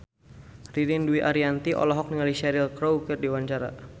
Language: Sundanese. Ririn Dwi Ariyanti olohok ningali Cheryl Crow keur diwawancara